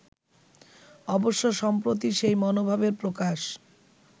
অবশ্য সম্প্রতি সেই মনোভাবের প্রকাশ